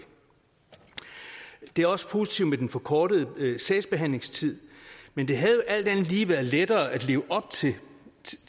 er også positivt med den forkortede sagsbehandlingstid men det havde jo alt andet lige været lettere at leve op til